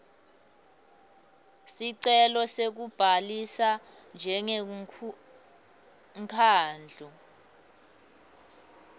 sicelo sekubhalisa njengemkhandlu